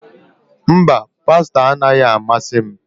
Mba, pasta anaghị amasị m